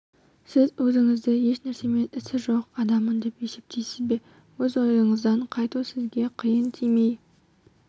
сіз өзінізді еш нәрсемен ісі жоқ адаммын деп есептейсіз бе өз ойыңыздан қайту сізге қиын тимей